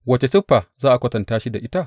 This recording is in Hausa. Wace siffa za ka kwatanta shi da ita?